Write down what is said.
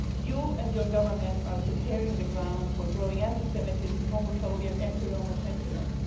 You and your government are preparing the ground for growing anti Semitism, homophobia and anti Roma sentiments.